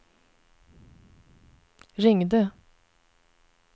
ringde